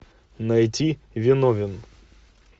найти виновен